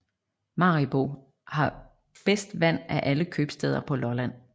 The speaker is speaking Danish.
Maribo har bedst vand af alle købstæder på Lolland